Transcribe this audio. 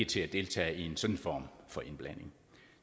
til at deltage i en sådan form for indblanding